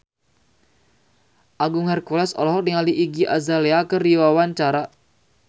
Agung Hercules olohok ningali Iggy Azalea keur diwawancara